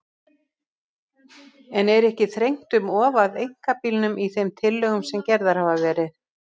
En er ekki þrengt um of að einkabílnum í þeim tillögum sem gerðar hafa verið?